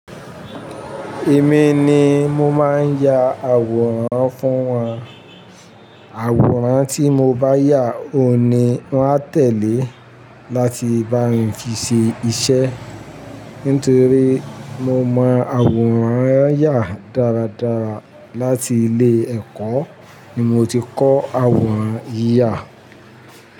Èmi ni mo máa ń ya àwòrán fún wọn. Àwòrán tí mo bá yà ohùn ni wọ́n á tẹ̀lé láti bá mi fi ṣe iṣẹ́. Nítorí mo mọ àwòrán yà dáradára. Láti ilé ẹ̀kọ́ ni mo ti kọ́ àwòrán yíyà.